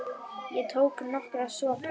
Ég tók nokkra sopa.